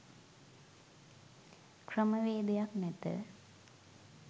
ක්‍රමවේදයක් නැත